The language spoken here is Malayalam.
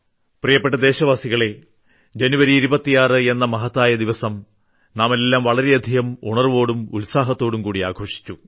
പ്രിയപ്പെട്ട ദേശവാസികളേ ജനുവരി 26 എന്ന മഹത്തായ ദിവസം നാമെല്ലാം വളരെയധികം ഉണർവ്വോടും ഉത്സാഹത്തോടും ആഘോഷിച്ചു